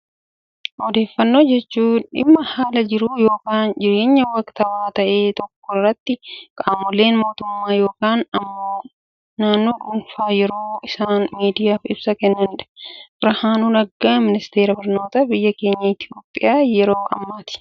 Odeeffannoo jechuun, dhimma haala jiru yookaan immoo waktawaa ta'e tokko irratti qaamoleen mootummaa yookaan immoo namoonni dhuunfaan yeroo isaan miidiyaaf ibsa kennanidha. Birhaanuu Naggaan ministeera barnootaa biyya keenya Itoophiyaa yeroo ammaati.